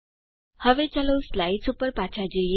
હવે ચાલો સ્લાઇદ્સ ઉપર પાછા જઈએ